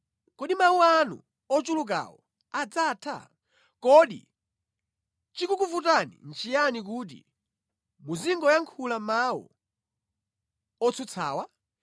Kodi mawu anu ochulukawo adzatha? Kodi chikukuvutani nʼchiyani kuti muzingoyankhula mawu otsutsawa?